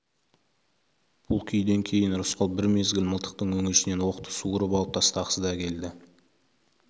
бұл күйден кейін рысқұл бір мезгіл мылтықтың өңешінен оқты суырып алып тастағысы да келді